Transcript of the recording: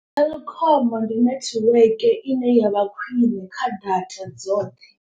Telkom ndi netiweke ine yavha khwine kha data dzoṱhe.